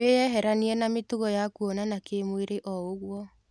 Wĩyeheranie na mĩtugo ya kuonana kĩmwĩrĩoũguo.